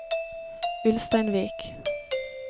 Ulsteinvik